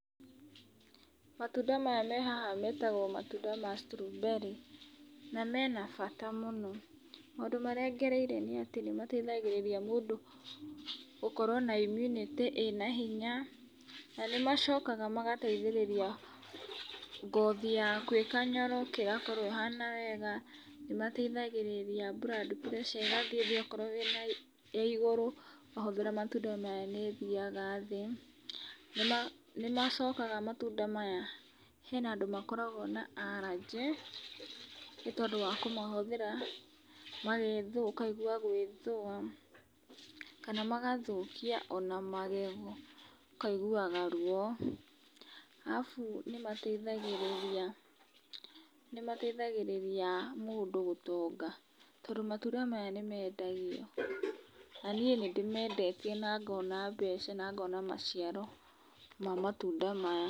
Matunda maya me haha metagwo matunda ma strawberry na mena bata mũno, maũndũ marĩa ngereire nĩ atĩ nĩ mateithagĩrĩria mũndũ gũkorwo na immunity ĩna hinya, na nĩ macokaga magateithĩrĩria ngothi yaku ĩkanyoroka, ĩgakorwo ĩhana wega, nĩ mateithagĩrĩria blood pressure ĩgathiĩ thĩ akorwo wĩna ya igũrũ, wahũthĩra matunda maya nĩ thiaga thĩ, nĩ macokaga matunda maya hena andũ makoragwo na allergy nĩ tondũ wa kũmahũthĩra ũgethũa, ũkaigua gwĩthũa kana magathũkia ona magego, ũkaiguaga ruo. Alafu nĩ mateithagĩrĩria, nĩ mateithagĩrĩria mũndũ gũtonga, tondũ matunda maya nĩ mendagio na niĩ nĩ ndĩmendetie na ngona mbeca, na ngona maciaro ma matunda maya.